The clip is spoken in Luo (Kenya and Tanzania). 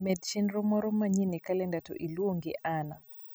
med chenro moro manyien e kalenda to iluonge anna